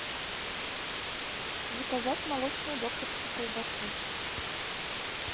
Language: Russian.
заказать молочную докторскую колбасу